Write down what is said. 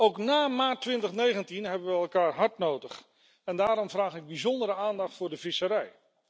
Ook na maart 2019 hebben we elkaar hard nodig en daarom vraag ik bijzondere aandacht voor de visserij.